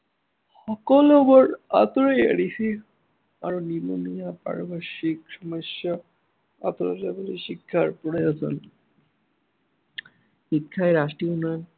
সকলোবোৰ আঁতৰাই দিছে। আৰু নিবনুৱা আদি সমস্য়া আঁতৰাবলৈ শিক্ষাৰ পৰাই শিক্ষাই ৰাষ্ট্ৰীয় উন্নয়ন